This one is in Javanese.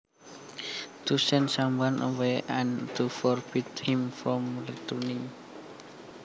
To send someone away and to forbid him from returning